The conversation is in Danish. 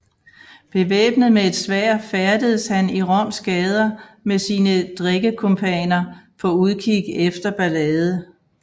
Bevæbnet med et sværd færdedes han i Roms gader med sine drikkekumpaner på udkig efter ballade